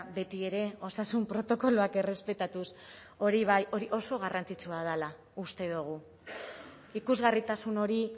beti ere osasun protokoloak errespetatuz hori bai hori oso garrantzitsua dela uste dugu ikusgarritasun hori